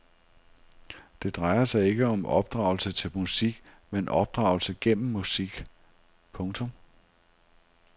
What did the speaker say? Det drejer sig ikke om opdragelse til musik men opdragelse gennem musik. punktum